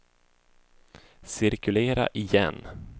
cirkulera igen